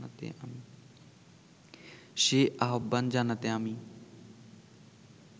সে আহ্বান জানাতে আমি